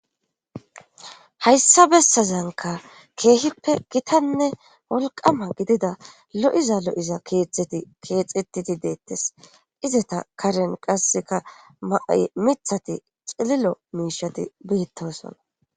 hayssabessazanka keehippe gitanne wolqama gidida lo7iza lo7iza keetheti keexetiti deettes izata karen qasseka ma7ay mithati xililo miishati beetosoona